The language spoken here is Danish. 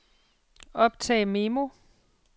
optag memo